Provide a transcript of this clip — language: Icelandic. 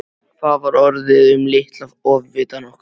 Hvað var orðið um litla ofvitann okkar?